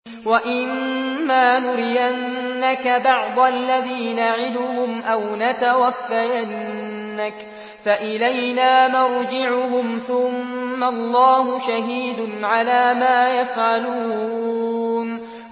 وَإِمَّا نُرِيَنَّكَ بَعْضَ الَّذِي نَعِدُهُمْ أَوْ نَتَوَفَّيَنَّكَ فَإِلَيْنَا مَرْجِعُهُمْ ثُمَّ اللَّهُ شَهِيدٌ عَلَىٰ مَا يَفْعَلُونَ